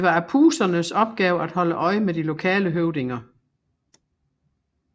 Det var Apusernes opgave at holde øje med de lokale høvdinger